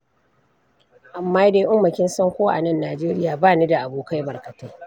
Amma dai Umma kin san ko a nan Najeriya ba ni da abokai barkatai.